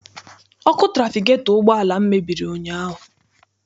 Ọkụ trafigetọ ụgbọala m mebiri ụnyaahụ.